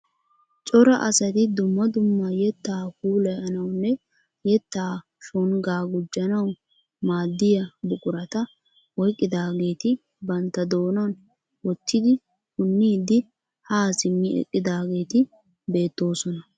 Cora asati dumma dumma yeettaa puulayanawunne yeettaa shonggaa guujanaw maaddiyaa buqurata oyqqidaageti bantta doonan woottidi punniidi haa simmi eqqidaageti beettoosona.